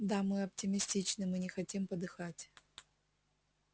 да мы оптимистичны мы не хотим подыхать